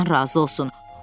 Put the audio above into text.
Allah sizdən razı olsun.